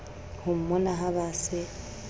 ho mmona ha ba se